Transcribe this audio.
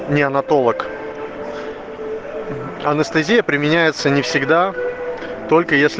неонатолог анестезия применяется не всегда только если